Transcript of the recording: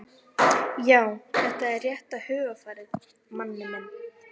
Já, þetta er rétta hugarfarið, Manni minn.